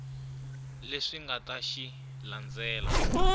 leswi nga ta xi landzela